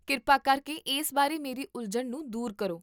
ਕਿਰਪਾ ਕਰਕੇ ਇਸ ਬਾਰੇ ਮੇਰੀ ਉਲਝਣ ਨੂੰ ਦੂਰ ਕਰੋ